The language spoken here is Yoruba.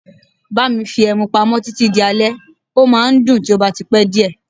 Bá mi fi ẹmu pamọ́ títí di alẹ́, ó máa ń dùn tí ó bá ti pẹ́ díẹ̀.